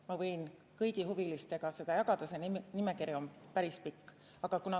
Ma võin kõigi huvilistega seda jagada, see nimekiri on päris pikk.